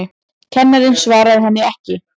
Kennarinn svaraði henni ekki.